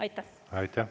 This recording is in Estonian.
Aitäh!